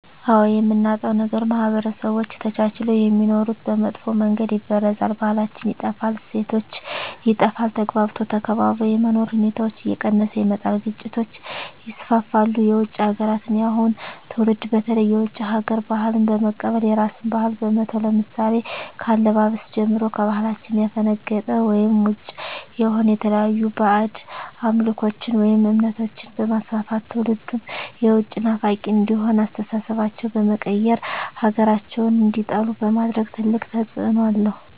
አዎ የምናጣዉ ነገር ማህበረሰቦች ተቻችለዉ የሚኖሩትን በመጥፋ መንገድ ይበርዛል ባህላችን ይጠፋል እሴቶች ይጠፋል ተግባብቶ ተከባብሮ የመኖር ሁኔታዎች እየቀነሰ ይመጣል ግጭቶች ይስፍፍሉ የዉጭ ሀገራትን የአሁኑ ትዉልድ በተለይ የዉጭ ሀገር ባህልን በመቀበል የራስን ባህል በመተዉ ለምሳሌ ከአለባበስጀምሮ ከባህላችን ያፈነቀጠ ወይም ዉጭ የሆነ የተለያዩ ባእጅ አምልኮችን ወይም እምነቶችንበማስፍፍት ትዉልዱም የዉጭ ናፋቂ እንዲሆን አስተሳሰባቸዉ በመቀየር ሀገራቸዉን እንዲጠሉ በማድረግ ትልቅ ተፅዕኖ አለዉ